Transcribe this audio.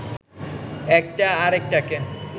একটা আরেকটাকে